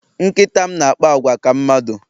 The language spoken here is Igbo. Nkịta m na-akpa àgwà ka mmadụ